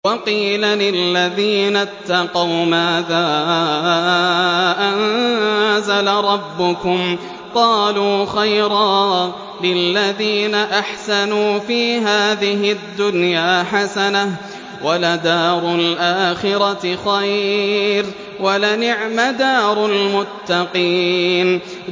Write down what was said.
۞ وَقِيلَ لِلَّذِينَ اتَّقَوْا مَاذَا أَنزَلَ رَبُّكُمْ ۚ قَالُوا خَيْرًا ۗ لِّلَّذِينَ أَحْسَنُوا فِي هَٰذِهِ الدُّنْيَا حَسَنَةٌ ۚ وَلَدَارُ الْآخِرَةِ خَيْرٌ ۚ وَلَنِعْمَ دَارُ الْمُتَّقِينَ